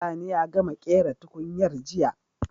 Sani ya gama ƙera tukunyar jiya